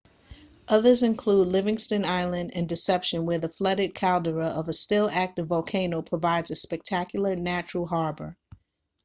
others include livingston island and deception where the flooded caldera of a still-active volcano provides a spectacular natural harbour